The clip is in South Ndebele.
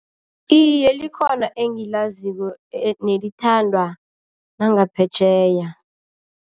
Iye, likhona engilaziko nelithandwa nangaphetjheya.